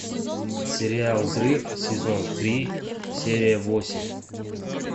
сериал взрыв сезон три серия восемь